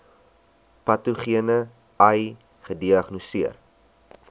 patogene ai gediagnoseer